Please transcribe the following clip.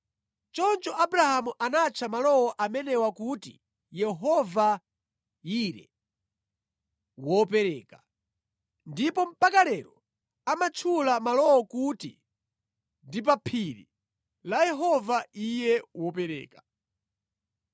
Choncho Abrahamu anatcha malo amenewa kuti Yehova-Yire (Wopereka). Ndipo mpaka lero amatchula malowo kuti ndi “Pa phiri la Yehova wopereka.”